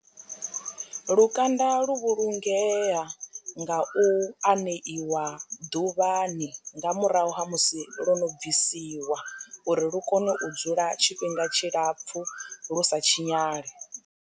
Lukanda lu vhulungea nga u aneiwa ḓuvhani nga murahu ha musi lwo no bvisiwa uri lu kone u dzula tshifhinga tshilapfhu lu sa tshinyale.